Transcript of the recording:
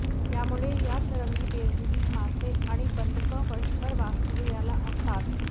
त्यामुळे यात रंगीबेरंगी मासे आणि बदकं वर्षभर वास्तव्याला असतात